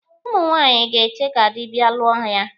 Ụmụ nwaanyị ga-eche ka dị bịa lụọ ya.